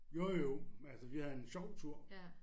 Jo jo men altså vi havde en sjov tur